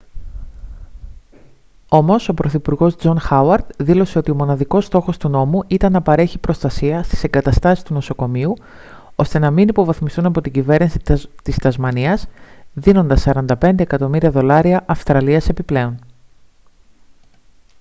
όμως ο πρωθυπουργός τζον χάουαρντ δήλωσε ότι μοναδικός στόχος του νόμου ήταν να παρέχει προστασία στις εγκαταστάσεις του νοσοκομείου ώστε να μην υποβαθμιστούν από την κυβέρνηση της τασμανίας δίνοντας 45 εκατομμύρια δολάρια αυστραλίας επιπλέον